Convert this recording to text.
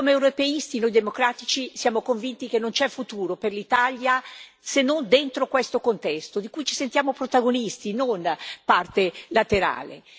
Come europeisti, noi democratici siamo convinti che non c'è futuro per l'Italia se non dentro questo contesto, di cui ci sentiamo protagonisti, non parte laterale.